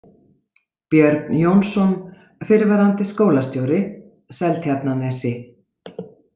Björn Jónsson, fyrrverandi skólastjóri, Seltjarnarnesi